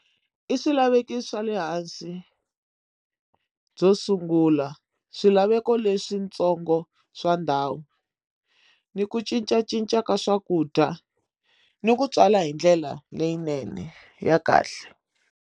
I swilaveko swa le hansi byo sungula swilaveko leswi ntsongo swa ndhawu ni ku cincacinca ka swakudya ni ku tswala hi ndlela leyinene ya kahle.